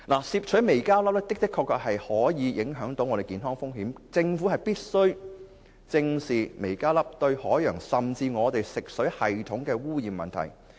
攝取微膠粒的確會有健康風險，政府必須正視微膠粒對海洋和食水系統的污染問題。